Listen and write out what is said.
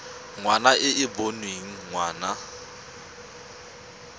ngwana e e boneng ngwana